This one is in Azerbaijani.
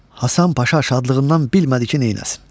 Hasan Paşa şadlığından bilmədi ki, neyləsin.